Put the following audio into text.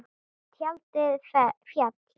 Tjaldið féll.